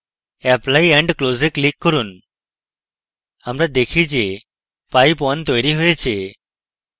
apply and close we click করুন আমরা দেখি যে pipe _ 1 তৈরী হয়েছে